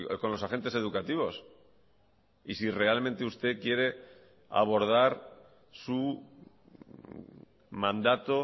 con los agentes educativos y si realmente usted quiere abordar su mandato